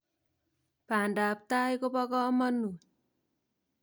Pandaap tai kopo kamanut.